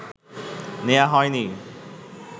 নেয়া হয়নি?